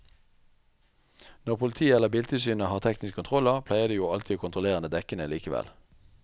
Når politiet eller biltilsynet har tekniske kontroller pleier de jo alltid å kontrollere dekkene likevel.